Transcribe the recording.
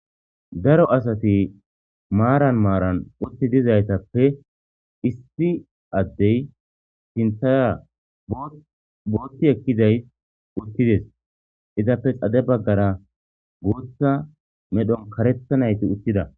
Daro asati maaran maaran utti dizaytappe issi addey sintaya bootti ekkizay uttides izappe xade baggara guutha medhon karethanayti uttida.